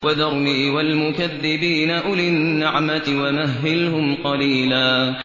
وَذَرْنِي وَالْمُكَذِّبِينَ أُولِي النَّعْمَةِ وَمَهِّلْهُمْ قَلِيلًا